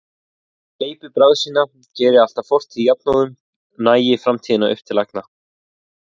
Gleypi bráð sína, geri allt að fortíð jafnóðum, nagi framtíðina upp til agna.